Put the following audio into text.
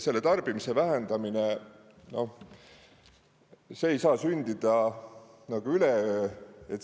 Tarbimise vähenemine ei saa sündida üleöö.